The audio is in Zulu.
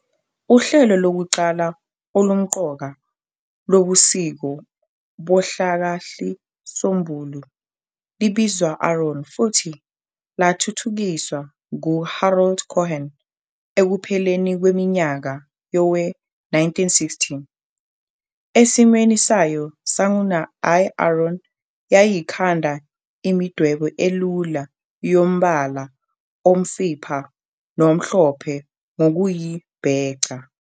Uhlelo lokuqala olumqoka lobuciko bohlakahlisombulu libizwa AARON, futhi lathithukiswa ngu-Harold Cohen, ekupheleni kweminyaka yowe1960. Esimweni sayo sanguna, i-AARON yayikhanda imidwebo elula yombala omfipha nomhlophe ngokuyibheca.